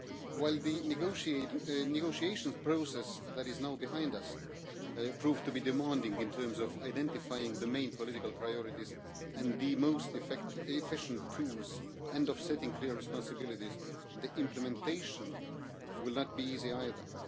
While the negotiation process that is now behind us proved to be demanding in terms of identifying the main political priorities and the most efficient tools, and setting clear responsibilities, implementation will not be easy either.